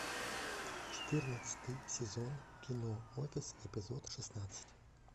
четырнадцатый сезон кино офис эпизод шестнадцать